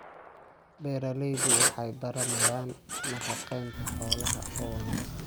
Beeraleydu waxay baranayaan nafaqeynta xoolaha oo wanaagsan.